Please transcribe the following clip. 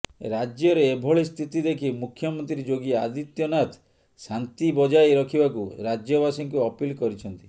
ରାଜ୍ୟରେ ଏଭଳି ସ୍ଥିତି ଦେଖି ମୁଖ୍ୟମନ୍ତ୍ରୀ ଯୋଗୀ ଆଦିତ୍ୟ ନାଥ ଶାନ୍ତି ବଜାଇ ରଖିବାକୁ ରାଜ୍ୟବାସୀକୁ ଅପିଲ୍ କରିଛନ୍ତି